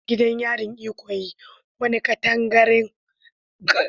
Gidan yarin Ikoyi, wani katangaren katanga na birni, yana da tarihin gwagwarmaya da juriya.